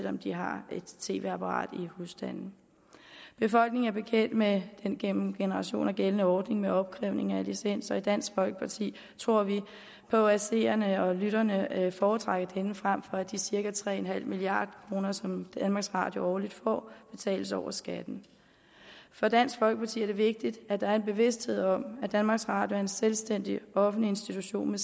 om de har et tv apparat i husstanden befolkningen er bekendt med den gennem generationer gældende ordning med opkrævning af licens og i dansk folkeparti tror vi på at seerne og lytterne foretrækker denne frem for at de cirka tre milliard kr som danmarks radio årligt får betales over skatten for dansk folkeparti er det vigtigt at der er en bevidsthed om at danmarks radio er en selvstændig offentlig institution med